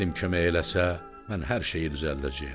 Bəxtin kömək eləsə, mən hər şeyi düzəldəcəyəm.